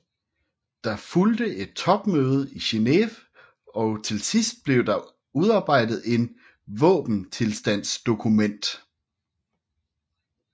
Der fulgte et topmøde i Geneve og til sidst blev der udarbejdet et våbenstilstandsdokument